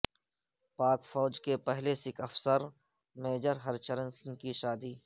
پاک فوج کے پہلے سکھ افسر میجر ہرچرن سنگھ کی شادی